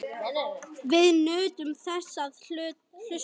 Við nutum þess að hlusta.